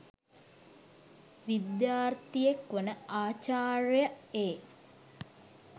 විද්‍යාර්තියෙක් වන ආචර්‍ය්‍යය එ